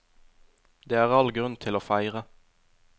Det er all grunn til å feire.